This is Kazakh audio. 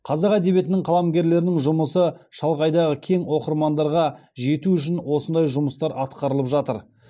қазақ әдебиетінің қаламгерлерінің жұмысы шалғайдағы кең оқырмандарға жету үшін осындай жұмыстар атқарылып жатыр